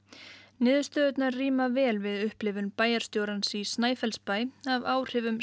niðurstöðurnar ríma vel við upplifun bæjarstjórans í Snæfellsbæ af áhrifum